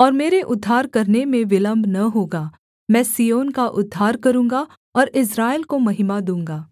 और मेरे उद्धार करने में विलम्ब न होगा मैं सिय्योन का उद्धार करूँगा और इस्राएल को महिमा दूँगा